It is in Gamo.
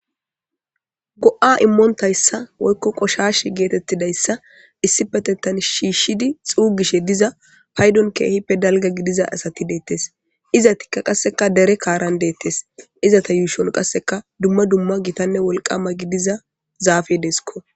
Go7a immontayssa woykko qoshash geetettidayssa issi patetan shiishshidi xuugishe diza paydon keehippe dalga gidiza asati deettes iza tikka qasseka dere kaaran deettes iza ta yuushon qasseka dumma dumma gitanne wolqama gidiza zaafedeesko